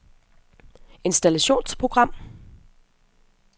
installationsprogram